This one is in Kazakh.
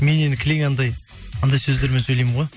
мен енді кілең анандай андай сөздермен сөйлеймін ғой